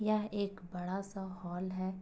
यह एक बड़ा सा हॉल है।